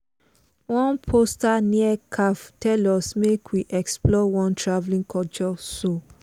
one poster near café tell us make we explore one travelling culture show.